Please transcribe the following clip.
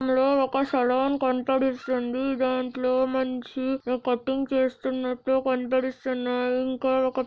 ఈ చిత్రంలో ఒక సెలూన్ కనపడుస్తుంది దీంట్లో మనిషి కటింగ్ చేస్తున్నట్టు కనపడు------